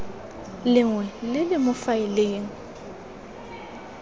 lengwe le le mo faeleng